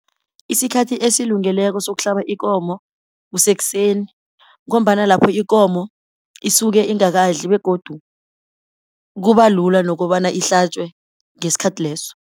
Isikhathi esilungileko sokuhlaba ikomo kusesekseni ngombana lapho ikomo isuke ingakadli begodu kuba lula nokobana ihlatjwe ngesikhathi leso.